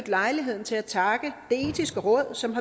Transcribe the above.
lejligheden til at takke det etiske råd som